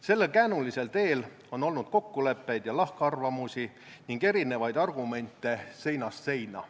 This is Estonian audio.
Sellel käänulisel teel on olnud kokkuleppeid ja lahkarvamusi ning erinevaid argumente seinast seina.